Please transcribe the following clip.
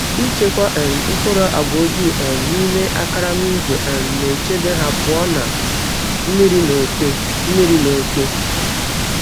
Ịchekwa um mkpụrụ agwa ojii um n’ime karama ígwè um na-echebe ha pụọ na mmiri na oke. mmiri na oke.